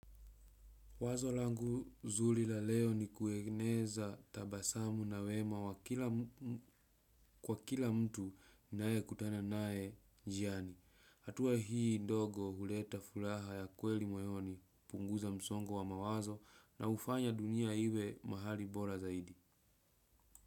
Wazo langu zuli la leo ni kuegneza tabasamu na wema wa kila kwa kila mtu nnae kutana nae jiani. Hatua hii dogo huleta fulaha ya kweli moyoni punguza msongo wa mawazo na hufanya dunia iwe mahali bola zaidi.